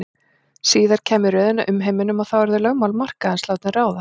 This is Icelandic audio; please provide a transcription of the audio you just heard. Síðar kæmi röðin að umheiminum og þá yrðu lögmál markaðarins látin ráða.